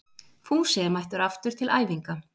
Fúsi er mættur aftur til æfinga